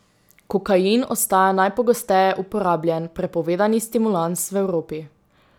Kokain ostaja najpogosteje uporabljan prepovedani stimulans v Evropi.